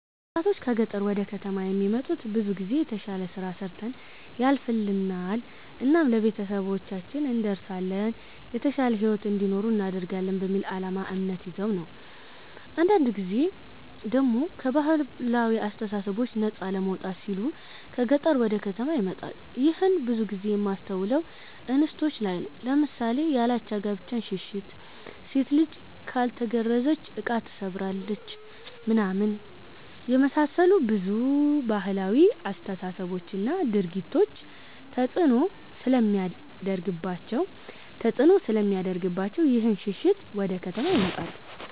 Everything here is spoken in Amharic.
ወጣቶች ከ ገጠር ወደ ከተማ የሚመጡት ብዙ ጊዜ የተሽለ ስራ ሰርተን ያልፍልናል እናም ለቤተሰባችን እንደርሳለን የተሻለ ሂዎት እንዲኖሩ እናደርጋለን በሚል አላማ እምነት ይዘው ነው ነው። አንዳንድ ጊዜ ደሞ ከ ባህላዊ አስተሳሰቦች ነፃ ለመውጣት ሲሉ ከ ገጠር ወደ ከተማ ይመጣሉ ይህንን ብዙ ጊዜ የማስተውለው እንስቶች ላይ ነው ለምሳሌ ያላቻ ጋብቻን ሽሽት፣ ሴት ልጅ ካልተገረዘች እቃ ትሰብራለች ምናምን የመሳሰሉ ብዙ ባህላዊ አስተሳሰቦች እና ድርጊቶች ተፅእኖ ስለሚያደርግባቸው ይህንን ሽሽት ወደ ከተማ ይመጣሉ።